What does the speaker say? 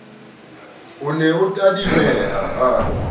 o ne a tadimeha a